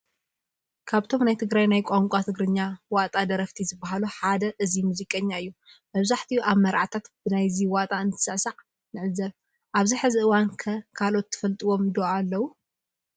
ካብቶም ናይ ትግራይ ናይ ቋንቋ ትግርኛ ዋጣ ደረፈቲ ዝባሃሉ ሓደ እዚ ሙዚቀኛ እዩ፡፡ መብዛሕትኡ ኣብ መርዓታት ብናይዚ ዋጣ እንትስዕሳዕ ንዕዘብ፡፡ ኣብዚ ሕዚ እዋን ከ ካልኦት ትፈልጥዎም ዶ ኣለው?